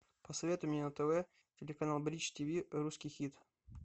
посоветуй мне на тв телеканал бридж тиви русский хит